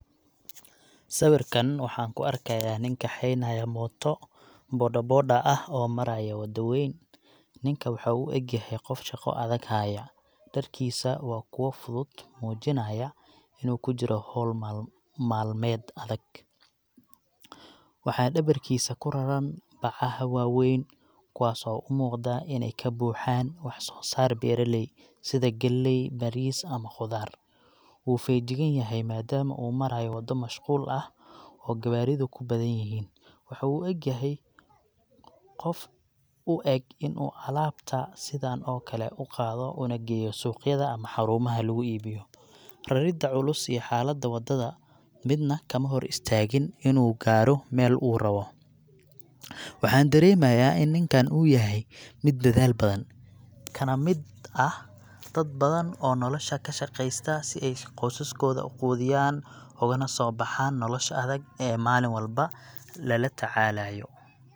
Sawirkan waxaan ku arkayaa nin kaxeynaya mooto bodaboda ah oo maraya waddo weyn. Ninka waxa uu u eg yahay qof shaqo adag haya. Dharkiisu waa kuwo fudud, muujinayana inuu ku jiro hawl maalm.., maalmeed adag. Waxaa dhabarkiisa ku raran bacaha waaweyn, kuwaas oo u muuqda inay ka buuxaan wax soo saar beeraley, sida galley, bariis, ama khudaar. Wuu feejigan yahay, madaama uu marayo waddo mashquul ah oo gawaaridu ku badan yihiin. Waxu uu u egyahay qof caadaystay in uu alaabta sidaan oo kale u qaado una geeyo suuqyada ama xarumaha lagu iibiyo. Rarida culus iyo xaaladda waddada midna kama hor istaagin inuu gaaro meel uu rabo. Waxaan dareemayaa in ninkan uu yahay mid dadaal badan, kana mid ah dad badan oo nolosha ka shaqaysta si ay qoysaskooda u quudiyaan, ugana soo baxaan nolosha adag ee maalin walba lala tacaalaayo. --- Ma rabtaa inaan ka dhigo qoraal si fudud loo akhriyo ama cod kuugu duubo tusaale ahaan?